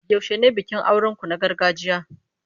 Yaushe ne bikin auren ku na gargajiya?